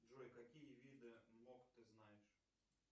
джой какие виды мок ты знаешь